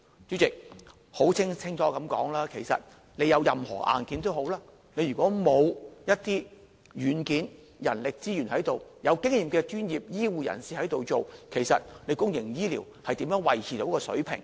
主席，說清楚一些，即使有任何硬件，如果欠缺人力資源的軟件，欠缺有經驗的專業醫護人士，其實公營醫療又如何能夠維持水平呢？